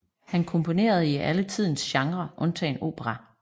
Han komponerede i alle tidens genrer undtagen opera